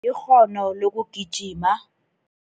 Ikghono lokugijima.